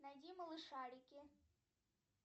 найди малышарики